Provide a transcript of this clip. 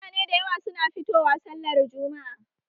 Mutane da yawa suna fito wa sallar jumma'a